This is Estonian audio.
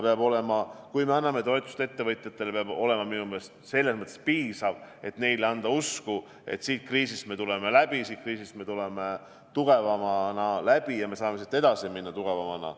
Aga kui me anname ettevõtjatele toetust, siis peab see olema minu meelest selles mõttes piisav, et anda neile usku: siit kriisist me tuleme läbi, me tuleme siit välja tugevamana ja me saame siit edasi minna tugevamana.